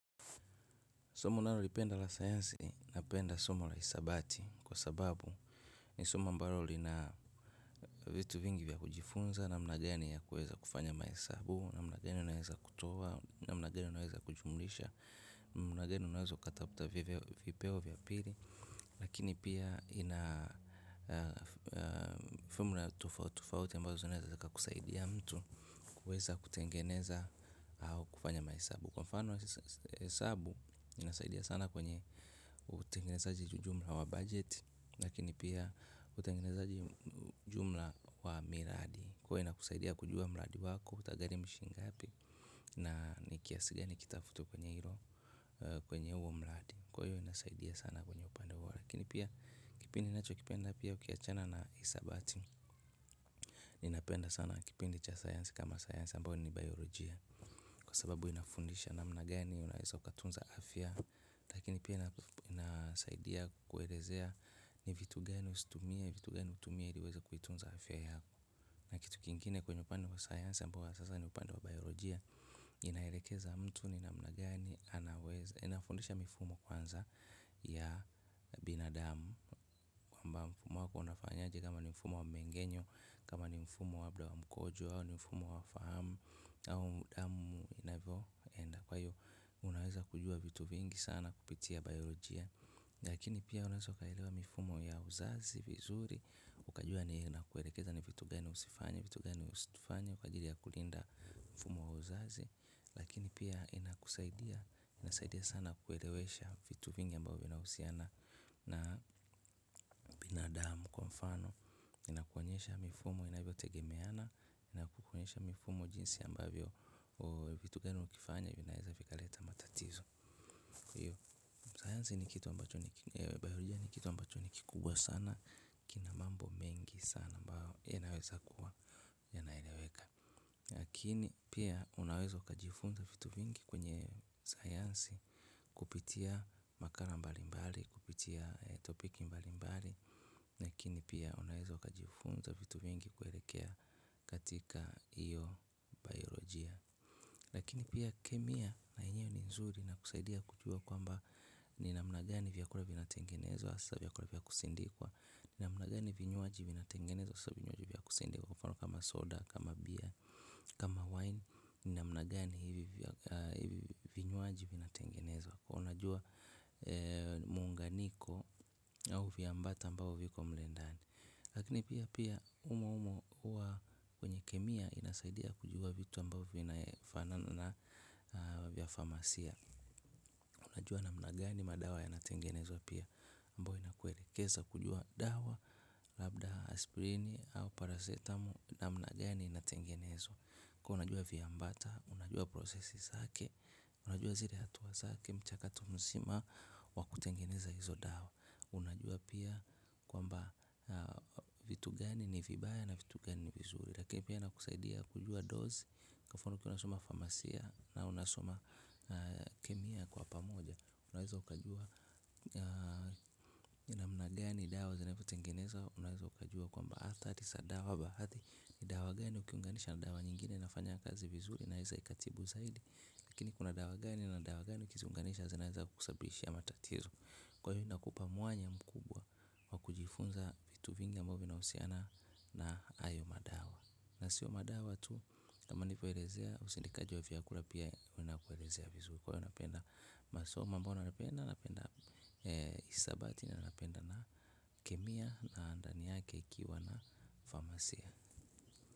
Somo unalolipenda la sayansi na penda somo la hisabati kwa sababu ni somo ambalo lina vitu vingi vya kujifunza namna gani ya kuweza kufanya mahesabu namna gani unaweza kutoa namna gani unaweza kujumuisha namna gani unaweza katafuta vipeo vya pili. Lakini pia ina fomula tofauti tofauti ambazo zinaweza kusaidia mtu kuweza kutengeneza kufanya mahesabu. Kwa mfano hesabu inasaidia sana. Kwenye utengenezaji jumla wa budget. Lakini pia utengenezaji jumla wa miradi huwa ina kusaidia kujua miradi wako utagharimu shingapi. Na ni kiasi gani kitafutwa kwenye hilo. Kwenye huo miradi. Kwa hiyo inasaidia sana kwenye upande. Lakini pia kipindi ninacho kipenda pia ukiachana na hisabati. Ninapenda sana kipindi cha sayansi kama sayansi ambayo ni teknolojia. Kwa sababu inafundisha namna gani unaweza ukatunza afya. Lakini pia inasaidia kuelezea ni vitu gani usitumie, vitu gani utumie ili uweze kuitunza afya yako. Na kitu kingine kwenye upande wa science ambao sasa ni upande wa biologja. Inaelekeza mtu ni namna gani anaweza. Inafundisha mifumo kwanza ya binadamu. Kwamba mfumo wako unafanya je kama ni mfumo wa mengenyo kama ni mfumo wa labda wa mkojo au ni mfumo wa fahamu au damu inavyoenda. Kwa hiyo unaweza kujua vitu vingi sana kupitia biolojia. Lakini pia unaweza ukaelewa mifumo ya uzazi vizuri. Ukajua ni na kuelekeza ni vitu gani usifanye. Vitu gani usifanye kwa ajili ya kulinda mfumo wa uzazi lakini pia inakusaidia, inasaidia sana kuelewesha vitu vingi ambayo vinahusiana na na damu kwa mfano inakuonyesha mifumo inavyo tegemeana, inakuanyesha mifumo jinsi ambavyo vitu gani ukifanya vinaweza vikaleta matatizo. Sayansi ni kitu ambacho ni kikubwa sana kina mambo mengi sana ambayo yanaweza kuwa yanaelewekLakini pia unawezo kajifunza vitu vingi kwenye sayansi kupitia makala mbalimbali, kupitia topiki mbalimbali, lakini pia unaweza ukajifunza vitu vingi kuelekea katika hiyo biolojia. Lakini pia kemia na yenyewe ni nzuri na kusaidia kujua kwamba ni namna gani vyakula vina tengenezwa haswa vya kula vya kusindikwa. Ni namna gani vinyuaji vina tengenezwa hasa vinyuaji vya kusindikwa kwa mfano kama soda kama beer kama wine. Ni namna gani vinyuaji vina tengenezwa kwa unajua muunganiko au viambata ambao viko mle ndani. Lakini pia pia humo humo huwa kwenye kemia inasaidia kujua vitu ambavyo vina fanana na vya famasia. Unajua namna gani madawa ya natengenezwa pia ambayo inakuelekeza kujua dawa, labda aspirini au paracetamol namna gani inatengenezwa. Kwa unajua vya ambata, unajua prosesi zake, unajua zile hatua zake, mchakato msima wa kutengeneza hizo dawa. Unajua pia kwamba vitu gani ni vibaya na vitu gani ni vizuri. Lakini pia ina kusaidia kujua dozi. Kwa mfano tunasoma farmacia na unasoma kemia kwa pamoja. Unaweza ukajua namna gani dawa zinavyo tengenezwa. Unaweza ukajua kwamba athari za dawa baadhi. Ni dawa gani ukiunganisha na dawa nyingine ina fanya kazi vizuri. Unaweza ikatibu zaidi. Lakini kuna dawa gani na dawa gani ukiziunganisha unaweza kusababishia matatizo. Kwa hiyo inakupa mwanya mkubwa wa kujifunza vitu vingi ambavyo vinahusiana na hayo madawa. Na siyo madawa tu kama ni kuelezea usindikaji wa vyakula pia unapoelezea vizuri. Kwa hiyo napenda masomo ambayo napenda napenda. Hisabati na napenda na kemia na ndani yake ikiwa na famasia.